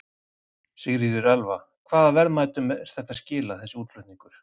Sigríður Elva: Hvaða verðmætum er þetta að skila, þessi útflutningur?